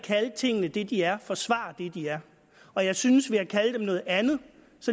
at kalde tingene det de er forsvarer det de er og jeg synes ved at kalde dem noget andet